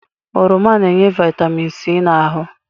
Oroma na-enye Vaịtamin C n'ahụ.